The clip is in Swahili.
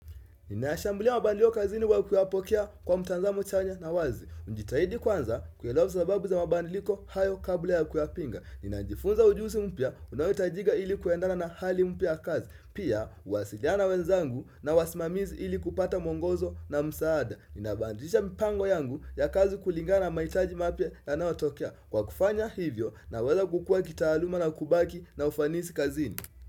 Ninayashambulia mabadiliko kazini kwa kuyapokea kwa mtazamo chanya na wazi. Njitahidi kwanza kuelewa sababu za mabadiliko hayo kabla ya kuyapinga. Ninajifunza ujuzi mpya unayohitajika ili kuendana na hali mpya kazi. Pia huwasiliana wenzangu na wasimamizi ili kupata muongozo na msaada. Ninabadilisha mpango yangu ya kazi kulingana mahitaji mapya yanayotokea. Kwa kufanya hivyo naweza kukua kitaaluma na kubaki na ufanisi kazini.